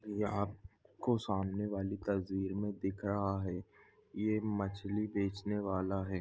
यहाँ आपको सामने वाली तस्वीर मे दिख रहा है ये मछली बेचने वाला है।